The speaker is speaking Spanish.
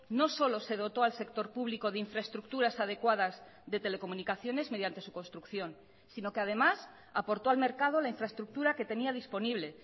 no solo se dotó al sector público de infraestructuras adecuadas de telecomunicaciones mediante su construcción sino que además aportó al mercado la infraestructura que tenía disponible